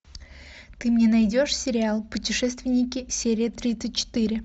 ты мне найдешь сериал путешественники серия тридцать четыре